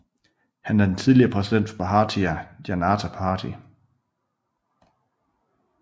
Han er den tidligere præsident for Bharatiya Janata Party